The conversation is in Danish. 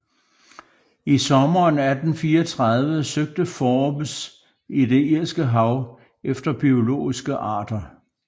I sommeren 1834 søgte Forbes i det Irske hav efter biologiske arter